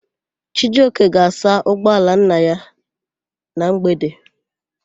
Chijioke ga-asa ụgbọala nna ya na mgbede.